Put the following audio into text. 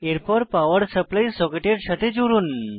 এরপর power supply সকেটের সাথে জুড়ুন